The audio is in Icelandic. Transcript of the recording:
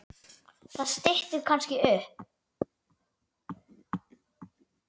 Það styttir kannski upp.